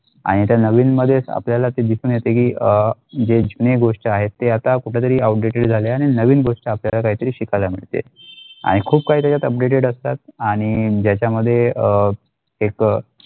आणि त्या नवीन मध्ये आपल्याला ते या दिसू नाही तेही अ जे जुनी गोष्ट आहेत ते आता कुठे तरी outdated जाल्या आणि नवीन गोष्ट आपल्याला काहीतरी शिकायला मिळते आणि खूप काही तरी आता updated आणि ज्याचा मध्ये अ एक.